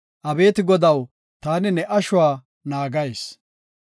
“Abeeti Godaw, taani ne ashuwa naagayis.